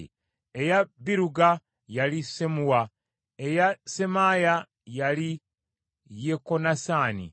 eya Biruga, yali Sammuwa; eya Semaaya, yali Yekonasaani;